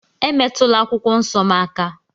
Emetụla akwụkwọ nsọ m aka